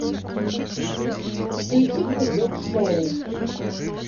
включи бульдог шоу